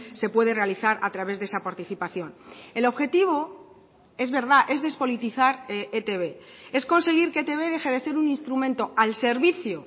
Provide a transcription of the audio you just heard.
se puede realizar a través de esa participación el objetivo es verdad es despolitizar etb es conseguir que etb deje de ser un instrumento al servicio